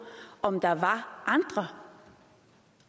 om der var andre